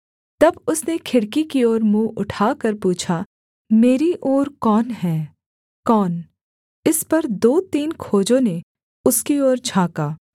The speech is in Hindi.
तब उसने खिड़की की ओर मुँह उठाकर पूछा मेरी ओर कौन है कौन इस पर दो तीन खोजों ने उसकी ओर झाँका